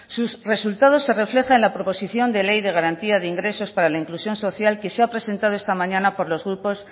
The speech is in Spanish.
sus resultados se refleja en la proposición de ley de garantía de ingresos para la inclusión social que se ha presentado esta mañana por los grupos